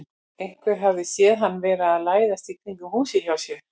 Einhver hafði séð hann vera að læðast í kringum húsið hjá þér.